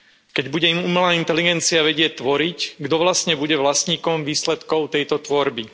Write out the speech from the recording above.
Keď bude umelá inteligencia vedieť tvoriť, kto vlastne bude vlastníkom výsledkov tejto tvorby?